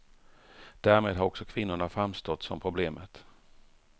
Därmed har också kvinnorna framstått som problemet.